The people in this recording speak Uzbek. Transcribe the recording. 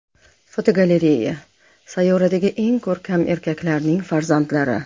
Fotogalereya: Sayyoradagi eng ko‘rkam erkaklarning farzandlari.